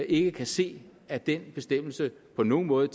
ikke kan se at den bestemmelse på nogen måde